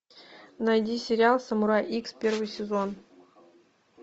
найди сериал самурай икс первый сезон